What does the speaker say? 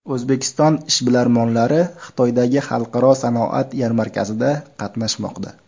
O‘zbekiston ishbilarmonlari Xitoydagi Xalqaro sanoat yarmarkasida qatnashmoqda.